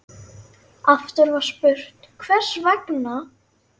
Aftur var spurt: Hvers vegna?